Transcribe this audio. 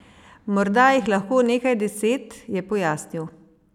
Morda jih lahko nekaj deset, je pojasnil.